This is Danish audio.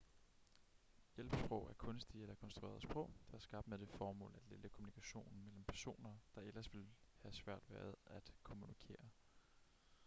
hjælpesprog er kunstige eller konstruerede sprog der er skabt med det formål at lette kommunikationen mellem personer der ellers ville have svært ved at kommunikere